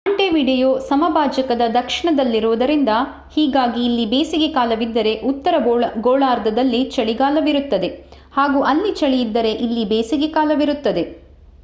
Montevideo ಸಮಭಾಜಕದ ದಕ್ಷಿಣದಲ್ಲಿರುವುದರಿಂದ ಹೀಗಾಗಿ ಇಲ್ಲಿ ಬೇಸಿಗೆ ಕಾಲವಿದ್ದರೆ ಉತ್ತರ ಗೋಳಾರ್ಧದಲ್ಲಿ ಚಳಿಗಾಲವಿರುತ್ತದೆ ಹಾಗೂ ಅಲ್ಲಿ ಚಳಿ ಇದ್ದರೆ ಇಲ್ಲಿ ಬೇಸಿಗೆ ಕಾಲವಿರುತ್ತದೆ